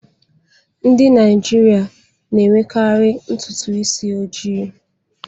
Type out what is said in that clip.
Ndị Naijiria na-enwekarị ntutu isi ojii